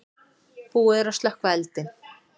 Búið er að slökkva eldinn.